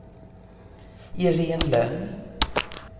Iréne Lönn